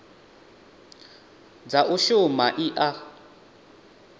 dza u shuma i a